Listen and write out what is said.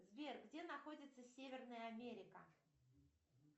сбер где находится северная америка